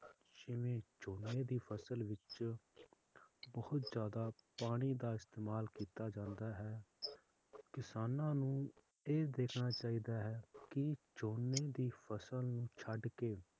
ਜਿਵੇਂ ਝੋਨੇ ਦੀ ਫਸਲ ਵਿਚ ਬਹੁਤ ਜ਼ਯਾਦਾ ਪਾਣੀ ਦਾ ਇਸਤੇਮਾਲ ਲੀਤਾ ਜਾਂਦਾ ਹੈ ਕਿਸਾਨਾਂ ਨੂੰ ਇਹ ਦੇਖਣਾ ਚਾਹੀਦਾ ਹੈ ਕਿ ਝੋਨੇ ਦੀ ਫਸਲ ਨੂੰ ਛੱਡ ਕੇ